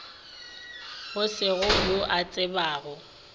go se yo a tsebago